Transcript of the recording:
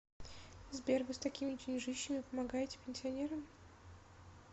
сбер вы с такими деньжищами помогаете пенсионерам